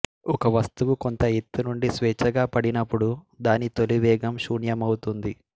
ఒక వస్తువు కొంత ఎత్తు నుండి స్వేచ్ఛాగా పడినపుడు దాని తొలివేగం శూన్యమవుతుంది